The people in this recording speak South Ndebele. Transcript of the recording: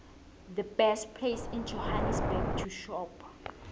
the best place in johannesburg to shop